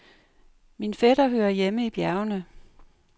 Min fætter hører hjemme i bjergene.